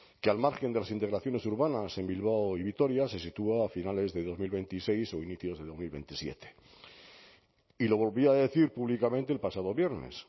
que al margen de las integraciones urbanas en bilbao y vitoria se sitúa a finales de dos mil veintiséis o inicios de dos mil veintisiete y lo volví a decir públicamente el pasado viernes